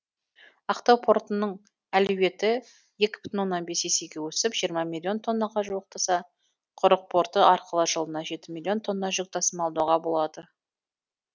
ақтау портының әлеуеті екі бүтін оннан бес есеге өсіп жиырма миллион тоннаға жуықтаса құрық порты арқылы жылына жеті миллион тонна жүк тасымалдауға болады